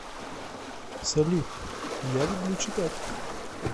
салют я люблю читать